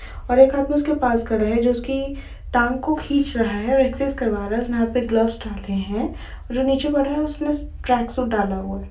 और एक आदमी उसके पास खड़ा है जो उसकी टांग को खींच रहा है और एक्सर्साइज़ करवा रहा है उसने हाथ पर ग्लव्स डाले है जो नीचे वाला है उसने ट्रैक सूट डाला हुआ है।